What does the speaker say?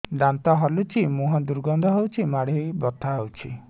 ଦାନ୍ତ ହଲୁଛି ମୁହଁ ଦୁର୍ଗନ୍ଧ ହଉଚି ମାଢି ବଥା ହଉଚି